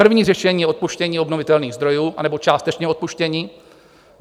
První řešení je odpuštění obnovitelných zdrojů, anebo částečné opuštění.